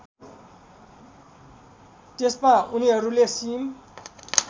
त्यसमा उनीहरूले सिम